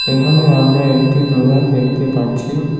এহানে আমরা একটি দোকান দেখতে পাচ্ছি।